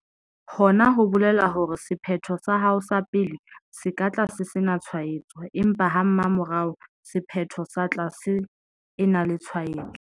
Hona ho bolela hore sephetho sa hao sa pele se ka tla se sena tshwaetso, empa ha mmamora sephetho sa tla se ena le tshwaetso.